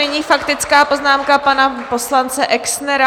Nyní faktická poznámka pana poslance Exnera.